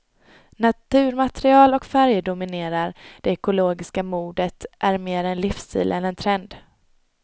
Naturmaterial och färger dominerar, det ekologiska modet är mer en livsstil än en trend.